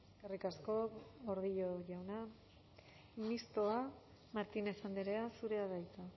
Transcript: eskerrik asko gordillo jauna mistoa martínez andrea zurea da hitza